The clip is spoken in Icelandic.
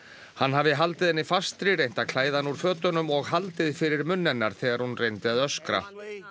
hann hafi haldið henni fastri reynt að klæða hana úr fötunum og haldið fyrir munn hennar þegar hún reyndi að öskra